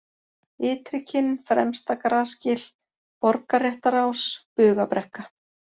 Ytrikinn, Fremsta-Grasgil, Borgarréttarás, Bugabrekka